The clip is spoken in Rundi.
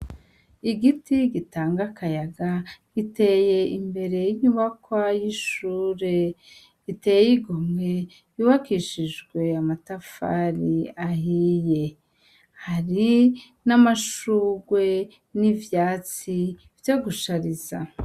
Igiti gitanga akayaga giteye imbere y'inyubakwa y'ishure riteye igomwe yubakishijwe amatafari ahiye , hari n'amashugwe n'ivyatsi vyo gushariza.